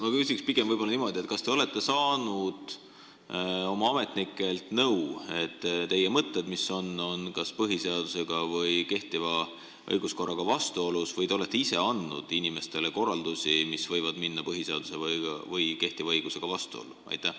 Ma küsin pigem niimoodi: kas te olete saanud oma ametnikelt nõu, et teie mõtted on kas põhiseaduse ja kehtiva õiguskorraga vastuolus, või te olete ise andnud inimestele korraldusi, mis võivad minna põhiseaduse ja kehtiva õigusega vastuollu?